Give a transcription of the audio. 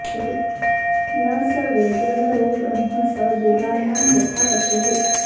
न स वेद नरो ब्रह्म स देवानां यथा पशुः